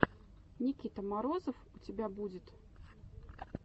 никита морозов у тебя будет